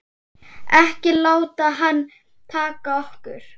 Ekki láta hana taka okkur.